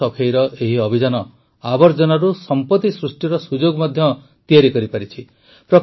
ନଦୀ ସଫେଇର ଏହି ଅଭିଯାନ ଆବର୍ଜନାରୁ ସମ୍ପତି ସୃଷ୍ଟିର ସୁଯୋଗ ମଧ୍ୟ ତିଆରି କରିଛି